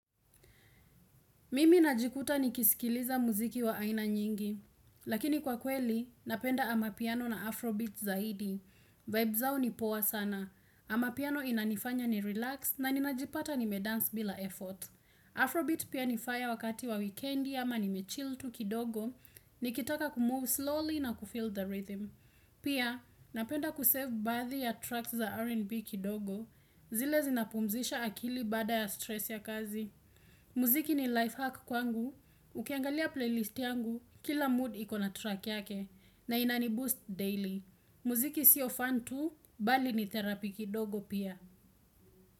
Mimi najikuta nikiskiliza muziki wa aina nyingi. Lakini kwa kweli, napenda amapiano na afrobeats zaidi. Vibe zao ni poa sana. Amapiano inanifanya ni relax na ninajipata nime dance bila effort. Afrobeat pia ni faya wakati wa weekendi ama nime chill tu kidogo, nikitaka kumove slowly na kufeel the rhythm. Pia, napenda kusave baadhi ya tracks za R&B kidogo, zile zinapumzisha akili baada ya stress ya kazi. Muziki ni lifehack kwangu, ukiangalia playlist yangu, kila mood ikona track yake, na inani boost daily. Muziki sio fan tu, bali ni therapy kidogo pia.